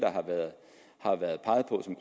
som